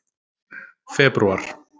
febrúar